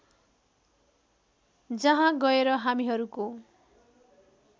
जहाँ गएर हामीहरूको